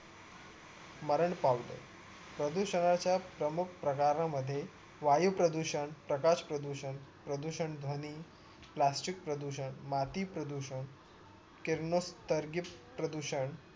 मरण पावले प्रदूषणाचा प्रमुख प्रकारे मध्ये वायू प्रदूषण प्रकाश प्रदूषण प्रदूषणध्वनी प्लास्टिक प्रदूषण माती प्रदूषण किरणोशार्गिक प्रदूषण